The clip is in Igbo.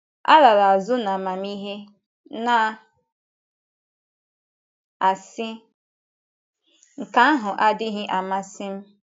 Alara azụ n'amamihe, na - asị: ‘ Nke ahụ adịghị amasị m. ’